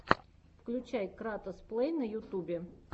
включай кратос плей на ютубе